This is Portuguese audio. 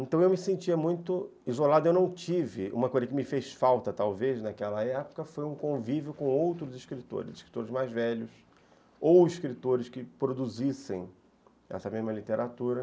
Então eu me sentia muito isolado, eu não tive... Uma coisa que me fez falta, talvez, naquela época, foi um convívio com outros escritores, escritores mais velhos, ou escritores que produzissem essa mesma literatura...